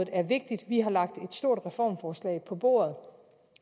er vigtigt vi har lagt et stort reformforslag på bordet